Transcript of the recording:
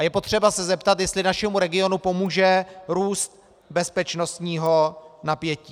A je potřeba se zeptat, jestli našemu regionu pomůže růst bezpečnostního napětí.